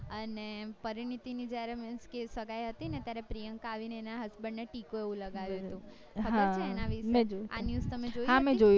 અને પરીનીતીની જયારે means કે સગાઇ હતી ને ત્યારે પ્રિયંકા આવીને એને husband ને ટીકો ને એવું લગાવ્યું હતું ખબર છે એના વિષે આ news તમે